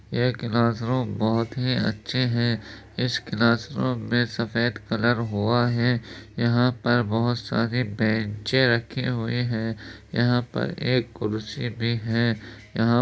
ये class room बोहोत ही अच्छे हैं | इस क्लास रूम में सफ़ेद कलर हुआ है | यहाँ पर बोहोत सारे बेंचे रखे हुए हैं | यहाँ पर एक कुर्सी भी है | यहाँ --